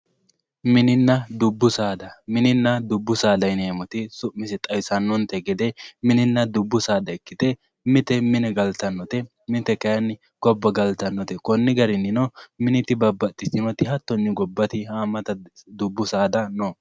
mininna dubbu saada yineemmoti su'minsa xawisannonte gede mininna dubbu saada ikkite mite mine galtannote mite kayinni gobba galtannote konni garinnino miniti dibabbaxitinnote hattonnino haammata dubbu saada no